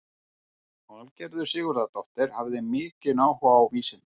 Valgerður Sigurðardóttir hafði mikinn áhuga á vísindum.